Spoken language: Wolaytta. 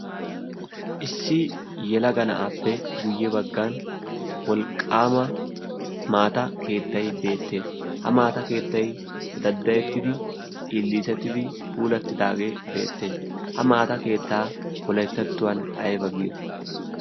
Issi yelaga na"aappe guyye baggan wolqqaama maata keettayi beettes. Ha daddayettidi illiisettidi puulattidaagee beettes. Ha maata keettaa wolayttattuwan ayba giyo.